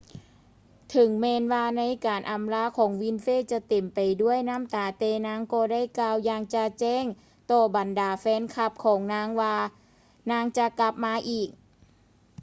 ເຖິງແມ່ນວ່າ ໃນການອຳລາຂອງ winfrey ຈະເຕັມໄປດ້ວຍນ້ຳຕາ ແຕ່ນາງກໍໄດ້ກ່າວຢ່າງຈະແຈ້ງຕໍ່ບັນດາແຟນຄລັບຂອງນາງວ່ານາງຈະກັບມາອີກ